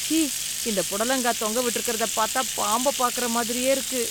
ச்சீ! இந்த புடலங்காய் தொங்கவிட்டு இருக்கிறத பாத்தா பாம்ப பாக்குற மாதிரியே இருக்கு.